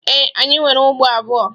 Ee, anyị nwere ugbo abụọ